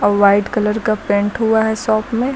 और white colour का paint हुआ है शॉप में।